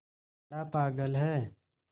बड़ा पागल है